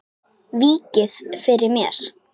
Víkið fyrir mér.